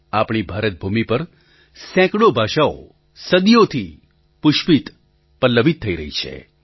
આપણી ભારત ભૂમિ પર સેંકડો ભાષાઓ સદીઓથી પુષ્પિત પલ્લવિત થતી રહી છે